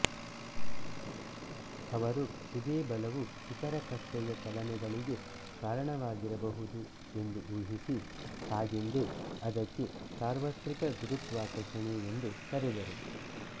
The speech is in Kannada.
ಅವರು ಇದೇ ಬಲವು ಇತರ ಕಕ್ಷೆಯ ಚಲನೆಗಳಿಗೆ ಕಾರಣವಾಗಿರಬಹುದು ಎಂದು ಊಹಿಸಿ ಹಾಗೆಂದೇ ಅದಕ್ಕೆ ಸಾರ್ವತ್ರಿಕ ಗುರುತ್ವಾಕರ್ಷಣೆ ಎಂದು ಕರೆದರು